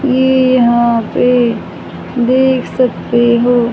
ये यहां पे देख सकते हो।